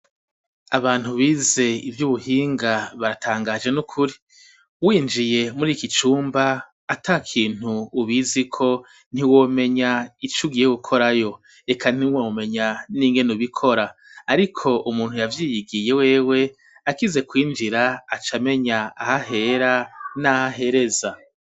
Abantu bize ivyu buhinga baratangaje nukuri winjiye muri iki cumba atakintu ubiziko ntiwomenya icugiye gukorayo reka ntiwomenya ningene ubikora ariko umuntu yavyigiye wewe akize kwinjira acamenya aha hera naha hereza.